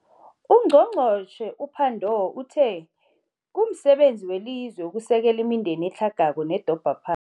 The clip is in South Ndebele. UNgqongqotjhe u-Pandor uthe kumSebenzi welizwe ukusekela imindeni etlhagako nedobha pha